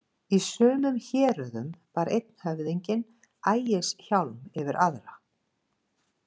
Í sumum héröðum bar einn höfðinginn ægishjálm yfir aðra.